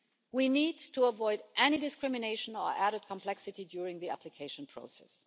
We need to avoid any discrimination or added complexity during the application process.